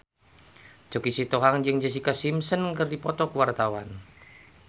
Choky Sitohang jeung Jessica Simpson keur dipoto ku wartawan